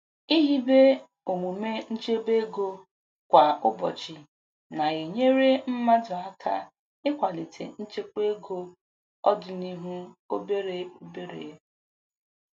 Ihibe omume nchebe ego kwa ụbọchị na-enyere mmadụ aka ikwalite nkwekwa ego ọdịnuhụ obere obere.